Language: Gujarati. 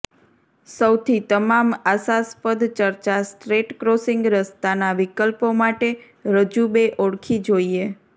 સૌથી તમામ આશાસ્પદ ચર્ચા સ્ટ્રેટ ક્રોસિંગ રસ્તાના વિકલ્પો માટે રજૂ બે ઓળખી જોઈએ